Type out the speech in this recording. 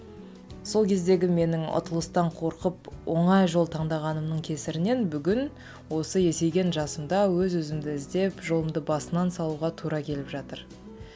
сол кездегі менің ұтылыстан қорқып оңай жол таңдағанымның кесірінен бүгін осы есейген жасымда өз өзімді іздеп жолымды басынан салуға тура келіп жатыр